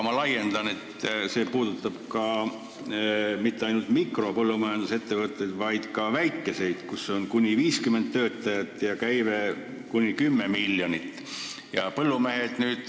Probleem puudutab aga mitte ainult mikropõllumajandusettevõtteid, vaid ka väikeseid, kus on kuni 50 töötajat ja käive kuni 10 miljonit.